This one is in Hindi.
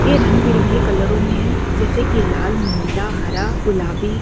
ये रंग-बिरंगे कलरो मे है जैसे की लाल नीला हरा गुलाबी--